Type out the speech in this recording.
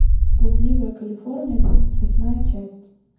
блудливая калифорния тридцать восьмая часть